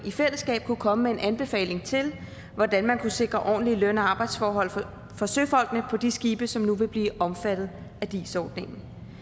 i fællesskab kunne komme med en anbefaling til hvordan man kunne sikre ordentlige løn og arbejdsforhold for søfolkene på de skibe som nu vil blive omfattet af dis ordningen